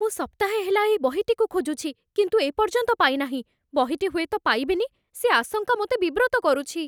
ମୁଁ ସପ୍ତାହେ ହେଲା ଏହି ବହିଟିକୁ ଖୋଜୁଛି, କିନ୍ତୁ ଏ ପର୍ଯ୍ୟନ୍ତ ପାଇନାହିଁ। ବହିଟି ହୁଏତ ପାଇବିନି, ସେ ଆଶଙ୍କା ମୋତେ ବିବ୍ରତ କରୁଛି।